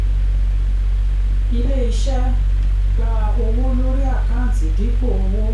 ilé-iṣẹ́ gba owó lórí àkáǹtì dípò owó.